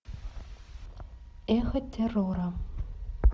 эхо террора